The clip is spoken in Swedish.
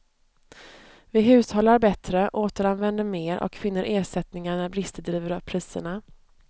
Vi hushållar bättre, återanvänder mer och finner ersättningar när brister driver upp priserna.